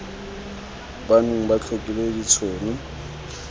ba neng ba tlhokile ditshono